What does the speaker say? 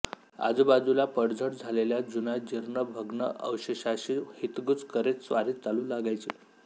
आजूबाजूला पडझड झालेल्या जुन्याजीर्ण भग्न अवशेषाशी हितगुज करीत स्वारी चालू लागायची